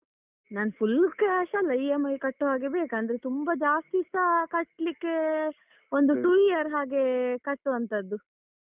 ನಾನ್ full cash ಅಲ್ಲ EMI ಕಟ್ಟುವ ಹಾಗೆ ಬೇಕು ಅಂದ್ರೆ ತುಂಬ ಜಾಸ್ತಿಸ ಕಟ್ಲಿಕ್ಕೆ ಒಂದು two year ಹಾಗೆ ಕಟ್ಟುವಂತದ್ದು.